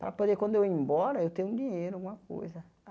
Para poder, quando eu ir embora, eu ter um dinheiro, alguma coisa.